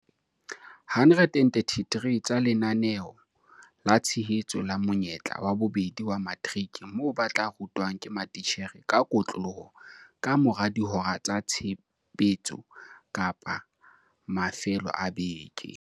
133 tsa Lenaneo la Tshehetso la Monyetla wa Bobedi wa Materiki moo ba tla rutwang ke matitjhere ka kotloloho ka mora dihora tsa tshebetso kapa ka mafelo a beke.